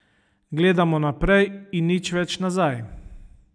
Gledamo naprej in nič več nazaj.